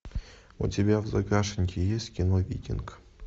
у тебя в загашнике есть кино викинг